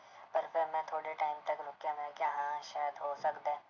ਪਰ ਫਿਰ ਮੈਂ ਥੋੜ੍ਹੇ time ਤੱਕ ਰੁੱਕਿਆ ਮੈਂ ਕਿਹਾ ਹਾਂ ਸ਼ਾਇਦ ਹੋ ਸਕਦਾ ਹੈ,